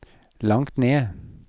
langt ned